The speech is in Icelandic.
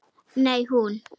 Nei, hún.